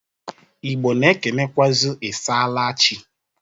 Igbọ na-ekenekwụazị, "I saala chị?"